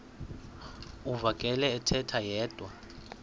uvakele ethetha yedwa